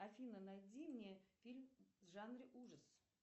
афина найди мне фильм в жанре ужас